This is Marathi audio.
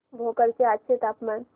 भोकर चे आजचे तापमान